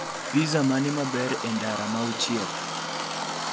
Pizza mane maber e ndara mauchiel